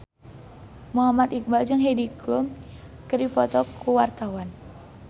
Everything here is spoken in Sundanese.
Muhammad Iqbal jeung Heidi Klum keur dipoto ku wartawan